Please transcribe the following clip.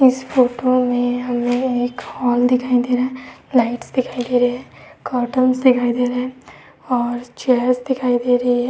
इस फोटो में हमें एक हाल दिखाई दे रहा है। लाइट्स दिखाई दे रही हैं। कर्टन्स दिखाई दे रहे हैं और चेयर्स दिखाई दे रही हैं।